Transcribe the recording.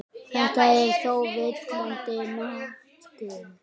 Þetta er þó villandi notkun.